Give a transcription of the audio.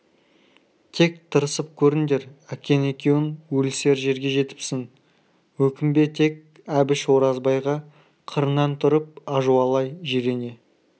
тек тырысып көріңдер әкең екеуің өлісер жерге жетіпсің өкінбе тек әбіш оразбайға қырынан тұрып ажуалай жирене